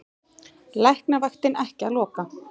Læknavaktin ekki að loka